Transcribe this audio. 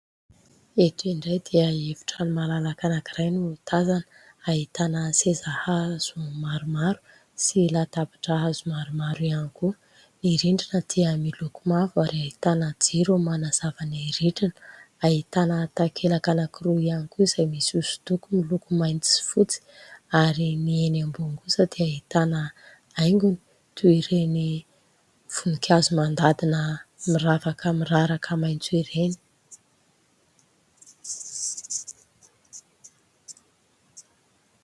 Eto indray dia efitrano malalaka anankiray no tazana. Ahitana seza hazo maromaro sy latabatra hazo maromaro ihany koa. Ny rindrina dia miloko mavo ary ahitana jiro manazava ny rindrina. Ahitana takelaka anankiroa ihany koa izay misy hosodoko miloko mainty sy fotsy ary ny eny ambony kosa dia ahitana haingony, toy ireny voninkazo mandadina miravaka miraraka maitso ireny.